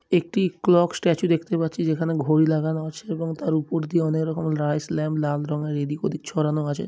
একটি clock statue দেখতে পাচ্ছি। যেখানে ঘড়ি লাগানো আছে এবং তার উপর দিয়ে অনেক রকমের রাইস লেম্প লাল রং এর এদিক ওদিক ছড়ানো আছে।